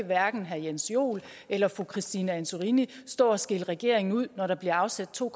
hverken herre jens joel eller fru christine antorini stå og skælde regeringen ud når der bliver afsat to